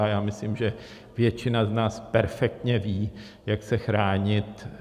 A já myslím, že většina z nás perfektně ví, jak se chránit.